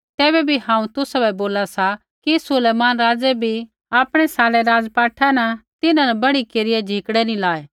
तैबै भी हांऊँ तुसाबै बोला सा कि सुलैमान राज़ै भी आपणै सारै राज़पाठा न तिन्हां न बढ़िया झिकड़ै नी लायै